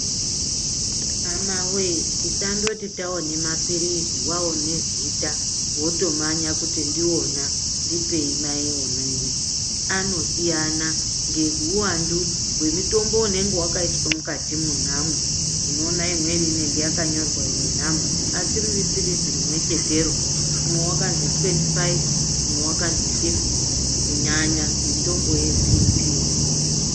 Hamawe tisandoti tawone mapilizi waone zita wotomanya kuti ndiona ndipei mai onini. Anosiyana ngemutombo unenge wakaiswa mukati mwonamwo. Unoona amweni anenge akanyorwa imwe nhamba asi risiripi pilizi rimwechetero. Umwe wakanzi twendi faifi umwe wakanzi fifite kunyanya mutombo ye bhipii.